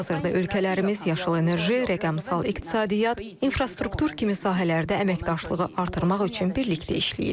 Hazırda ölkələrimiz yaşıl enerji, rəqəmsal iqtisadiyyat, infrastruktur kimi sahələrdə əməkdaşlığı artırmaq üçün birlikdə işləyirlər.